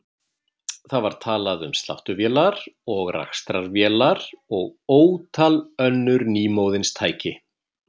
Það var talað um sláttuvélar og rakstrarvélar og ótal önnur nýmóðins tæki.